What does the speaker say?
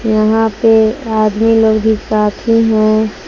यहां पे आदमी लोग भी काफी हैं।